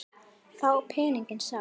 Þá pening sá.